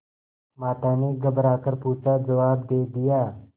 माता ने घबरा कर पूछाजवाब दे दिया